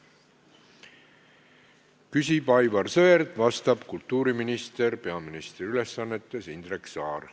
Küsib Aivar Sõerd, vastab peaministri ülesannetes olev kultuuriminister Indrek Saar.